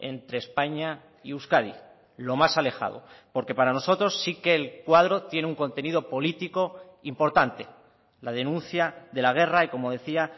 entre españa y euskadi lo más alejado porque para nosotros sí que el cuadro tiene un contenido político importante la denuncia de la guerra y como decía